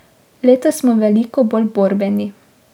Letos smo veliko bolj borbeni.